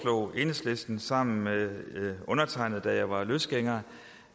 enhedslisten sammen med undertegnede da jeg var løsgænger